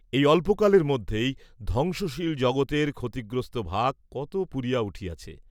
এই অল্পকালের মধ্যেই ধ্বংসশীল জগতের ক্ষতিগ্রস্ত ভাগ কত পূরিয়া উঠিয়াছে।